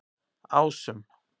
Ásum